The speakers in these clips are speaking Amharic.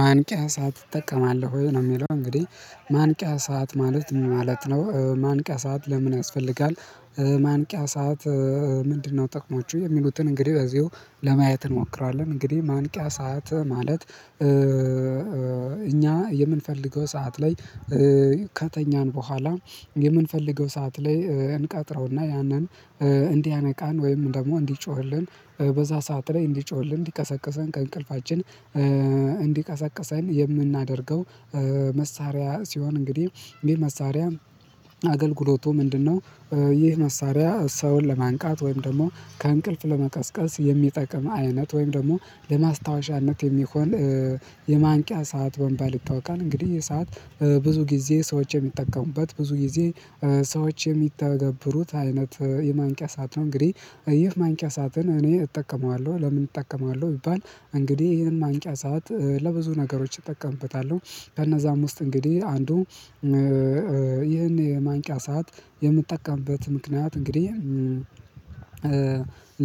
ማንቂያ ሰዓት እጠቀማለሁ ወይ ነው የሚለው እንግዲህ ማንቂያ ሰዓት ማለት ምን ማለት ነው ማንቂያ ሰዓት ለምን ያስፈልጋል? ማንቂያ ሰዓት ምንድነው ጥቅሞቹ የሚሉትን እንግዲህ በዚሁ ለማየት እንሞክራለን። እንግዲህ ማንቂያ ሰዓት ማለት እኛ የምንፈልገው ሰዓት ላይ ከተኛን በኋላ የምንፈልገው ሰዓት ላይ እንቀጥረውና ያንን እንዲያነቃን ወይም ደግሞ እንዲጮህልን በዛ ሰዓት ላይ እንዲጮህልን ሊቀሰቅሰን ከእንቅልፋችን እንዲቀሰቅሰን የምናደርገው መሳሪያ ሲሆን እንግዲህ ይሄ መሳሪያ አገልግሎቱ ምንድነው? ይህ መሳሪያ ሰውን ለማንቃት ወይም ደግሞ ከእንቅልፍ ለመቀስቀስ የሚጠቅም አይነት ወይም ደግሞ ለማስታወሻነት የሚሆን የማንቂያ ሰዓት በመባል ይታውቃል። እንግዲህ ይህ ሰዓት ብዙ ጊዜ ሰዎች የሚጠቀሙበት ብዙ ጊዜ ሰዎች የሚተገብሩት አይነት የማንቂያ ሰዓት ነው። እንግዲህ ይህ ማንቂያ ሰዓትን እኔ እጠቀመዋለሁ ለምን እጠቀመዋለሁ ቢባል እንግዲህ ይሄን ማንቂያ ሰዓት ለብዙ ነገሮች እጠቀምበታለሁ። ከነዛም ውስጥ እንግዲህ አንዱ ይህንን የማንቂያ ሰዓት የምጠቀምበት ምክንያት እንግዲህ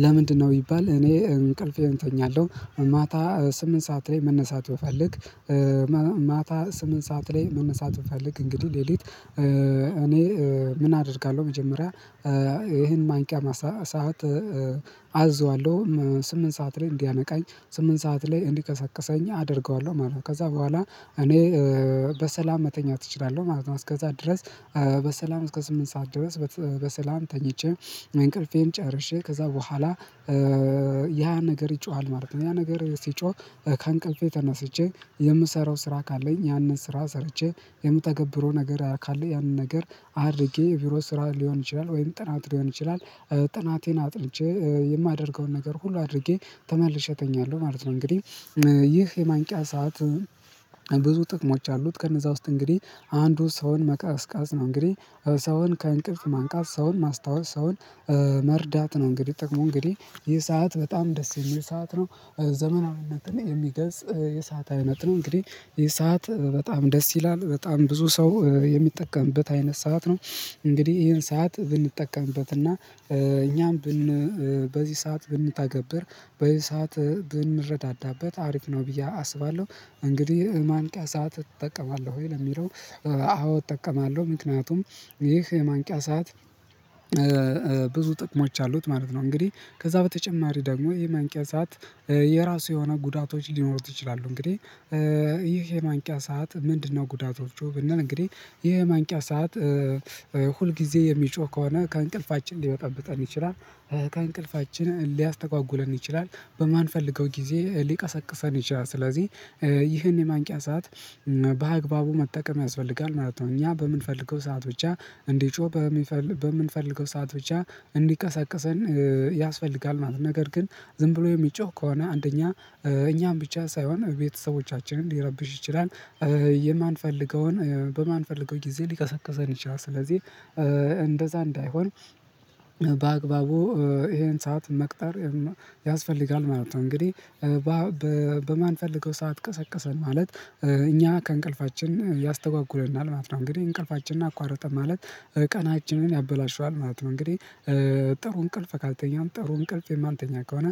ለምንድነው ቢባል እኔ እንቅልፌን እተኛለሁ። ማታ ስምንት ሰዓት ላይ መነሳት ብፈልግ ማታ ስምንት ሰዓት ላይ መነሳት እፈልግ እንግዲህ ሌሊት እኔ ምን አደርጋለሁ መጀመሪያ ይሄን ማንቂያ ሰዓት አዝዋለሁ ስምንት ሰዓት ላይ እንዲያነቃኝ ስምንት ሰዓት ላይ እንዲቀሰቅሰኝ አደርገዋለሁ ማለት ነው። ከዛ በኋላ እኔ በሰላም መተኛት እችላለሁ ማለት ነው። እስከዛ ድረስ በሰላም እስከ ስምንት ሰዓት ድረስ በሰላም ተኝቼ እንቅልፌን ጨርሼ ከዛ በኋላ ያ ነገር ይጮሃል ማለት ነው። ያ ነገር ሲጮህ ከአንቀልፌ ተነስቼ የምሰራው ስራ ካለኝ ያንን ስራ ሰርቼ የምተገብረው ነገር ካለ ያንን ነገር አድርጌ ቢሮ ስራ ሊሆን ይችላል ወይም ጥናት ሊሆን ይችላል። ጥናቴን አጥንቼ የማደርገውን ነገር ሁሉ አድርጌ ተመልሼ እተኛለሁ ማለት ነው። እንግዲህ ይህ የማንቂያ ሰዓት ብዙ ጥቅሞች አሉት። ከነዛ ውስጥ እንግዲህ አንዱ ሰውን መቀስቀስ ነው እንግዲህ ሰውን ከእንቅልፍ ማንቃት ሰውን ማስታወስ ሰውን መርዳት ነው። እንግዲህ ጥቅሙ እንግዲህ ይህ ሰዓት በጣም ደስ የሚል ሰዓት ነው። ዘመናዊነትን የሚገልጽ የሰዓት አይነት ነው። እንግዲህ ይህ ሰዓት በጣም ደስ ይላል በጣም ብዙ ሰው የሚጠቀምበት አይነት ሰዓት ነው። እንግዲህ ይሄን ሰዓት ብንጠቀምበት እና እኛም በዚህ ሰዓት ብንተገብር በዚህ ሰዓት ብንረዳዳበት አሪፍ ነው ብዬ አስባለሁ። እንግዲህ ማንቂያ ሰዓት ትጠቀማለሁ ወይ ነው ለሚለው? አዎ እጠቀማለሁ ምክንያቱም ይህ የማንቂያ ሰዓት ብዙ ጥቅሞች አሉት ማለት ነው። እንግዲህ ከዛ በተጨማሪ ደግሞ የማንቂያ ሰዓት የራሱ የሆነ ጉዳቶች ሊኖሩት ይችላሉ። እንግዲህ ይህ የማንቂያ ሰዓት ምንድነው? ጉዳቶቹ ብንል እንግዲህ ይሄ ማንቂያ ሰዓት ሁል ጊዜ የሚጮህ ከሆነ ከእንቅልፍ ሊበጠብጠን ይችላል። ከእንቅልፋችን ሊያስተጓጉለን ይችላል በማንፈልገው ጊዜ ሊቀሰቅሰን ይችላል። ስለዚህ ይህን የማንቂያ ሰዓት በአግባቡ መጠቀም ያስፈልጋል ማለት ነው። እኛ በምንፈልገው ሰዓት ብቻ እንዲጮህ በምንፈልገው ሰዓት ብቻ እንዲቀሰቅሰን ያስፈልጋል ማለት ነው። ነገር ግን ዝም ብሎ የሚጮህ ከሆነ አንደኛ እኛም ብቻ ሳይሆን ቤተሰቦቻችንን ሊረብሽ ይችላል። የማንፈልገውን በማንፈልገው ጊዜ ሊቀሰቅሰን ይችላል። ስለዚህ እንደዛ እንዳይሆን በአግባቡ ይሄን ሰዓት መቅጠር ያስፈልጋል ማለት ነው። እንግዲህ ሰዓት ቀሰቀሰን ማለት እኛ ከእንቅልፋችን ያስተጓጉለናል ማለት ነው። እንግዲህ እንቅልፋችንን አቋርጠን ማለት ቀናችንን ያበላሸዋል ማለት ነው። እንግዲህ ጥሩ እንቅልፍ ካልተኛሁም ጥሩ እንቅልፍ የማንተኛ ከሆነ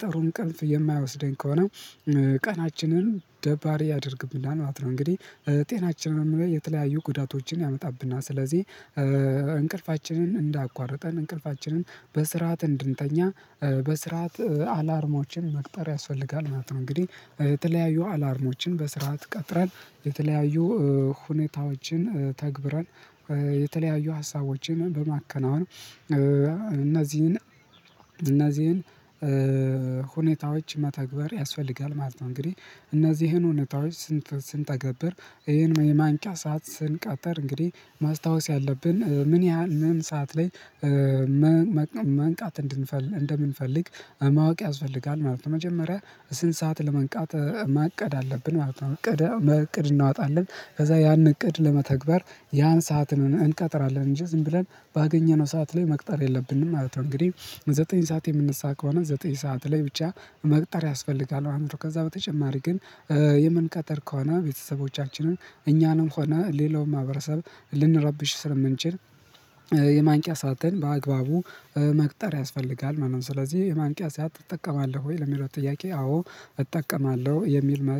ጥሩ እንቅልፍ የማያወስደኝ ከሆነ ቀናችንን ደባሪ ያደርግብናል። እንግዲህ ጤናችንንም ላይ የተለያዩ ጉዳቶችን ያመጣብና ስለዚህ። እንቅልፋችንን እንዳያቋርጠን እንቅልፋችንን በስርዓት እንድንተኛ በስርዓት አላርሞችን መቅጠር ያስፈልጋል ማለት ነው። እንግዲህ የተለያዩ አላርሞችን በስርዓት ቀጥረን የተለያዩ ሁኔታዎችን ተግብረን የተለያዩ ሀሳቦችን በማከናወን እነዚህን እነዚህን ሁኔታዎች መተግበር ያስፈልጋል ማለት ነው። እንግዲህ እነዚህን ሁኔታዎች ስንተገብር ይሄን የማንቂያ ሰዓት ስንቀጠር እንግዲህ ማስታወስ ያለብን ምን ያህል ምን ሰዓት ላይ መንቃት እንደምንፈልግ ማወቅ ያስፈልጋል ማለት ነው። መጀመሪያ ስንት ሰዓት ለመንቃት ማቀድ አለብን ማለት ነው። እቅድ እናወጣለን ከዛ ያን እቅድ ለመተግበር ያን ሰዓት እንቀጥራለን እንጂ ዝም ብለን ባገኘነው ሰዓት ላይ መቅጠር የለብንም ማለት ነው። እንግዲህ ዘጠኝ ሰዓት የምንነሳ ከሆነ ዘጠኝ ሰዓት ላይ ብቻ መቅጠር ያስፈልጋል። አእምሮ ከዛ በተጨማሪ ግን የምንቀጠር ከሆነ ቤተሰቦቻችንን እኛንም ሆነ ሌላውን ማህበረሰብ ልንረብሽ ስለምንችል የማንቂያ ሰዓትን በአግባቡ መቅጠር ያስፈልጋል። ማንም ስለዚህ የማንቂያ ሰዓት ትጠቀማለህ ወይ ለሚለው ጥያቄ? አዎ እጠቀማለሁ የሚል